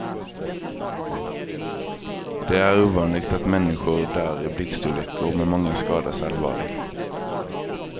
Det är ovanligt att människor dör i blixtolyckor men många skadas allvarligt.